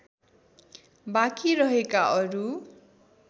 बाँकी रहेका अरू